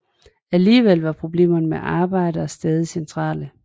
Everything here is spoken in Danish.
Alligevel var problemer med arbejdere stadig centrale